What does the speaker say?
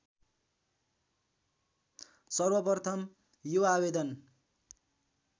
सर्वप्रथम यो आवेदन